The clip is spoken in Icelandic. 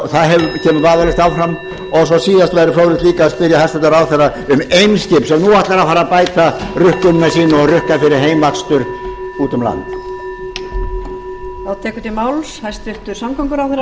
lokum væri líka fróðlegt að spyrja hæstvirtan ráðherra um eimskip sem nú ætlar að fara að bæta rukkunina hjá sér og rukka fyrir heimakstur úti um land